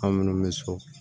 An minnu bɛ so